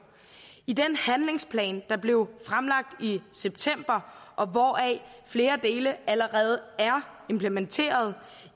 i den handlingsplan der blev fremlagt i september og hvoraf flere dele allerede er implementeret